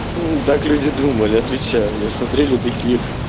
ха так люди думали отвечаю они смотрели такие